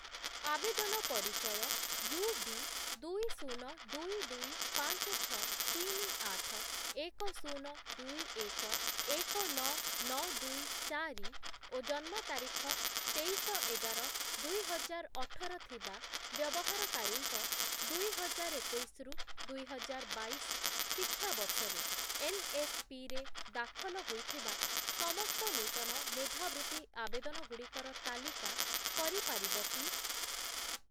ଆବେଦନ ପରିଚୟ U, B, ଦୁଇ, ଶୂନ, ଦୁଇ, ଦୁଇ, ପାଞ୍ଚ, ଛଅ, ତିନି, ଆଠ, ଏକ, ଶୂନ, ଦୁଇ, ଏକ, ଏକ, ନଅ, ନଅ, ଦୁଇ, ଚାରି ଓ ଜନ୍ମ ତାରିଖ ତେଇଶ ଏଗାର ଦୁଇହଜାର ଅଠର ଥିବା ବ୍ୟବହାରକାରୀଙ୍କ, ଦୁଇହଜାର ଏକୋଇଶି ରୁ ଦୁଇହଜାର ବାଇଶ ଶିକ୍ଷା ବର୍ଷରେ ଏନ୍‌ଏସ୍‌ପି ରେ ଦାଖଲ ହୋଇଥିବା ସମସ୍ତ ନୂତନ ମେଧାବୃତ୍ତି ଆବେଦନଗୁଡ଼ିକର ତାଲିକା କରିପାରିବ କି?